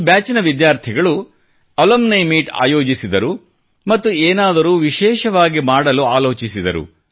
ಈ ಬ್ಯಾಚ್ ನ ವಿದ್ಯಾರ್ಥಿಗಳು ಅಲುಮ್ನಿ ಮೀಟ್ ಆಯೋಜಿಸಿದರು ಮತ್ತು ಏನಾದರೂ ವಿಶೇಷವಾಗಿ ಮಾಡಲು ಆಲೋಚಿಸಿದರು